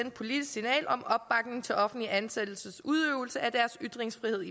et politisk signal om opbakning til offentligt ansattes udøvelse af deres ytringsfrihed